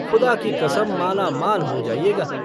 खुदा की कसम, मालामाल हो जाइएगा।